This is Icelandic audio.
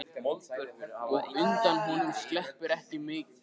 Og undan honum sleppur ekki mitt fólk.